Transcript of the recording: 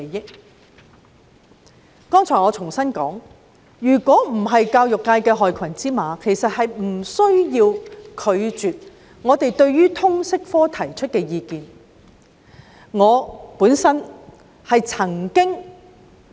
我剛才重申，如果教育界沒有害群之馬，根本無須拒絕我們就通識科提出的意見。